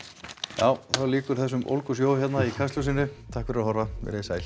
já þá lýkur þessum ólgusjó hérna í Kastljósinu takk fyrir að horfa veriði sæl